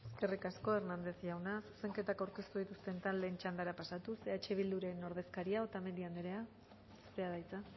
eskerrik asko hernández jauna zuzenketak aurkeztu dituzten taldeen txandara pasatuz eh bilduren ordezkaria otamendi anderea zurea da hitza